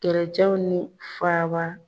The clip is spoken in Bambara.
Keretiɲɛw ni f'a ba.